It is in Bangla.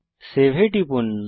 সেভ এ টিপুন